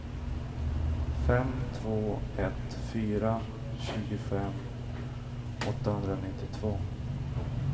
fem två ett fyra tjugofem åttahundranittiotvå